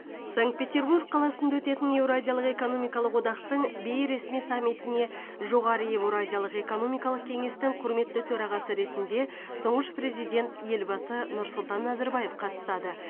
санкт петербург қаласында өтетін еуразиялық экономикалық одақтың бейресми саммитіне жоғары еуразиялық экономикалық кеңестің құрметті төрағасы ретінде тұңғыш президент елбасы нұрсұлтан назарбаев қатысады